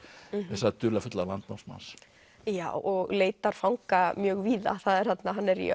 þessa dularfulla landnámsmanns já og leitar fanga mjög víða hann er í